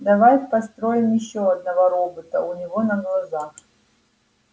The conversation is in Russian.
давай построим ещё одного робота у него на глазах